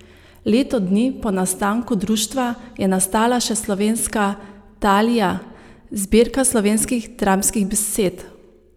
Leto dni po nastanku društva je nastala še Slovenska Talija, zbirka slovenskih dramskih besed.